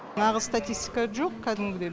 нағыз статистика жоқ кәдімгідей